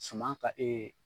Suman ka